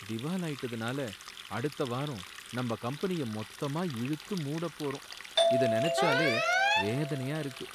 திவாலாயிட்டதனால அடுத்த வாரம் நம்ம கம்பெனிய மொத்தமா இழுத்து மூடப் போறோம், இத நனைச்சாலே வேதனையா இருக்கு.